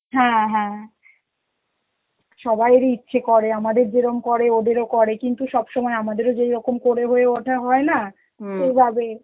হ্যাঁ হ্যাঁ, সবাইয়েরই ইচ্ছে করে, আমাদের যেরম করে ওদেরও করে কিন্তু সব সময় আমাদেরও যেরকম করে হয় ওঠা হয় না সেইভাবে